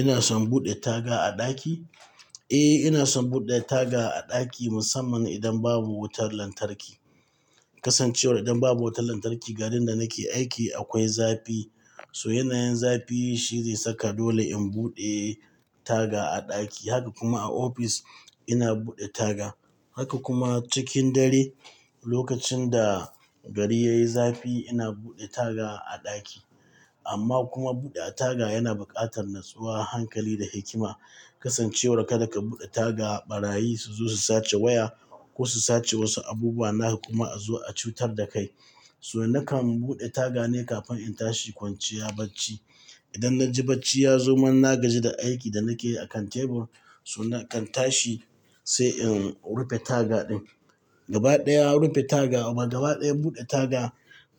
Ina son buɗe taga a ɗaki? Eh, ina son buɗe taga a ɗaki musamman idan babu wutar lantarki. Kasancewar idan babu wutar lantarki garin da nake aiki akwai zafi. So yanayin zafi shi zai saka dole in buɗe taga a ɗaki. Haka kuma a ofis ina buɗe taga. Haka kuma cikin dare lokacin da gari yayi zafi ina buɗe taga a ɗaki. Amma kuma buɗe taga yana buƙatar natsuwa, hankali da hikima. Kasancewar kada ka buɗe taga ɓarayi su zo su sace waya ko su sace wasu abubuwa naka kuma a zo a cutar da kai. So nakan buɗe taga ne kafin in tashi kwanciya bacci. Idan na ji bacci ya zo man na gaji da aikin da nake yi a kan tebur, so nakan tashi sai in rufe taga ɗin. Gaba ɗaya rufe taga abu gaba ɗaya buɗe taga